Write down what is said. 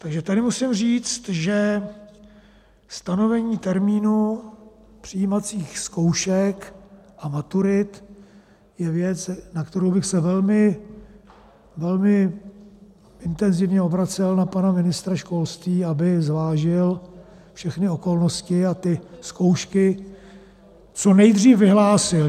Takže tady musím říct, že stanovení termínu přijímacích zkoušek a maturit je věc, na kterou bych se velmi, velmi intenzivně obracel na pana ministra školství, aby zvážil všechny okolnosti a ty zkoušky co nejdřív vyhlásil.